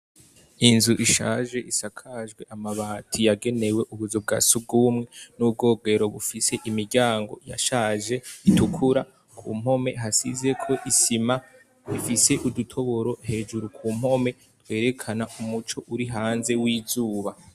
Inzu ishaje isakajwe amabati yagenewe ubuzu bwa sugumwe n'ubwogero bufise imiryango yashaje itukura, ku mpome hasizeko isima, ifise udutoboro hejuru ku mpome twerekana umuco uri hanze w'izuba.